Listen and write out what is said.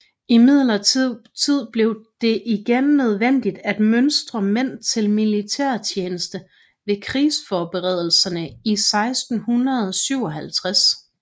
Imidlertid blev det igen nødvendigt at mønstre mænd til militærtjeneste ved krigsforberedelserne i 1657